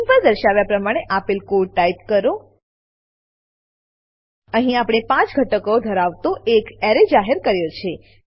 screen પર દર્શાવ્યા પ્રમાણે આપેલ કોડ ટાઈપ કરો અહીં આપણે 5 ઘટક ધરાવતો એરે જાહેર કર્યો છે